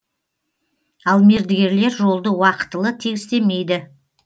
ал мердігерлер жолды уақытылы тегістемейді